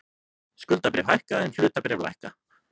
Skuldabréf hækka en hlutabréf lækka